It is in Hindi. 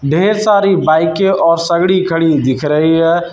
ढेर सारी बाईकें और सगड़ी खड़ी दिख रही है।